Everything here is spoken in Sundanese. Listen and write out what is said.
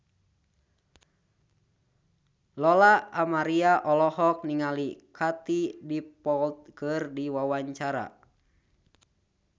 Lola Amaria olohok ningali Katie Dippold keur diwawancara